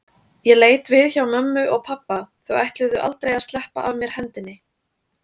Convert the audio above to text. Ég leit við hjá mömmu og pabba, þau ætluðu aldrei að sleppa af mér hendinni.